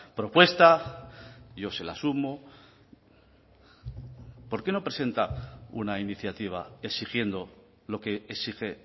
propuesta yo se la sumo por qué no presenta una iniciativa exigiendo lo que exige